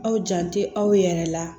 Aw jan tɛ aw yɛrɛ la